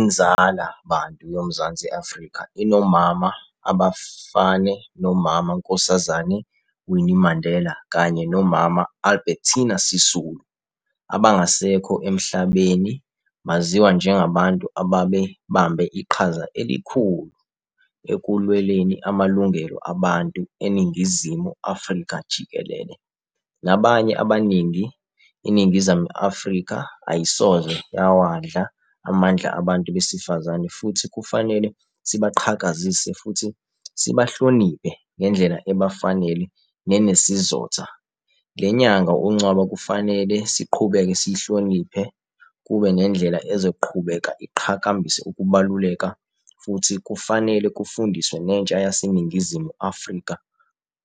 Inzala bantu yoMzansi Afrika inomama abafane nomama Nkosazane Winnie Mandela kanye nomama Albertiner Sisulu abangasekho emhlabene baziwa njengabantu ababe bambe iqhaza elikhu ekulweleni amalungelo abantu eNingizimu Afrika jikelele, nabanye abaningi iNingizimu Afrika ayisoze yawadla amandla abantu besifazane futhi kufanele sibaqhakazise futhi sibahloniphe ngendlela ebafanele nenesizotha lenyanga uNcwaba kufanele siqhubeke siyihloniphe kube nendlela ezoqhubeka iqhakambise ukubaluleka, futhi kufanele kufundiswe netsha yase Ningizimu Afrika